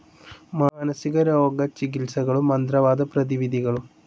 മാനസികരോഗ ചികിത്സകളും. മന്ത്രവാദ പ്രതിവിധികളും